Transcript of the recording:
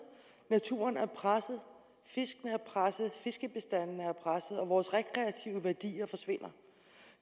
naturen er presset fiskene er presset fiskebestanden er presset og vores rekreative værdier forsvinder og